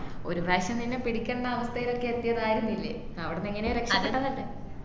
ഒരുപ്രാവശ്യം നിന്നെ പിടിക്കേണ്ട അവസ്ഥയിലൊക്കെ എത്തിയതായിരുന്നില്ലേ അവിടന്ന് എങ്ങനെയോ രക്ഷപെട്ട